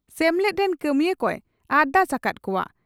ᱥᱮᱢᱮᱞᱮᱫ ᱨᱮᱱ ᱠᱟᱹᱢᱤᱭᱟᱹ ᱠᱚᱭ ᱟᱨᱫᱟᱥ ᱟᱠᱟᱫ ᱠᱚᱜᱼᱟ ᱾